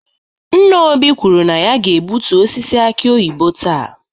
Nna Obi kwuru na ya ga-egbutu osisi aki oyibo taa.